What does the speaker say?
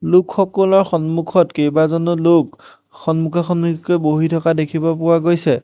লোকসকুলৰ সন্মুখত কেবাজনো লোক সন্মুখা সন্মুখিকৈ বহি থকা দেখিব পোৱা গৈছে।